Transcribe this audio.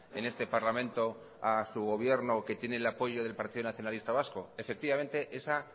en este parlamento a su gobierno que tiene el apoyo del partido nacionalista vasco efectivamente esa